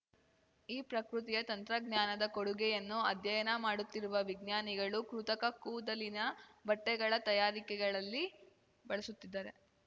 ಈ ಪ್ರಕೃತಿಯ ತಂತ್ರಜ್ಞಾನದ ಕೊಡುಗೆಯನ್ನು ಅಧ್ಯಯನ ಮಾಡುತ್ತಿರುವ ವಿಜ್ಞಾನಿಗಳು ಕೃತಕ ಕೂದಲಿನ ಬಟ್ಟೆಗಳ ತಯಾರಿಕೆಗಳಲ್ಲಿ ಬಳಸುತ್ತಿದ್ದಾರೆ